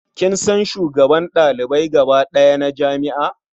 Kin san shugaban ɗalibai gaba ɗaya na jami'a?